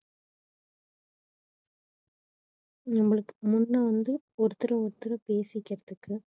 நம்மளுக்கு முன்ன வந்து ஒருத்தர ஒருத்தர் பேசிக்கிறதுக்கு